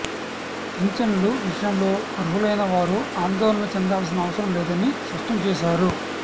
పింఛన్ల విషయంలో అర్హులైన వారు ఆందోళన చెందాల్సిన అవసరం లేదని స్పష్టం చేశారు